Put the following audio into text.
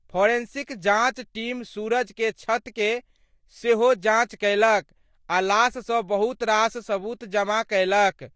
Forensic जांच team Suraj के छत के सेहो जांच कयलक आ लाश सं बहुत रास सबूत जमा कयलक।